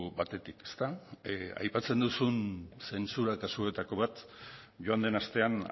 batetik ezta aipatzen duzun zentsura kasuetako bat joan den astean